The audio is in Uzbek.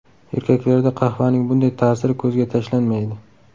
Erkaklarda qahvaning bunday ta’siri ko‘zga tashlanmaydi.